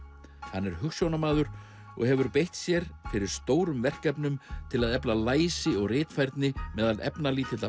hann er hugsjónamaður og hefur beitt sér fyrir stórum verkefnum til að efla læsi og ritfærni meðal efnalítilla